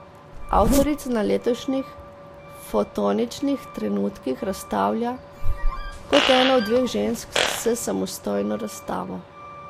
Avtorica na letošnjih Fotoničnih trenutkih razstavlja kot ena od dveh žensk s samostojno razstavo.